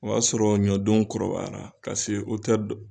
O y'a sɔrɔ ɲɔdenw kɔrɔbayara la ka se